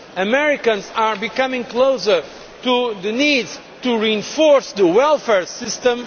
Americans are coming closer to the need to reinforce the welfare system.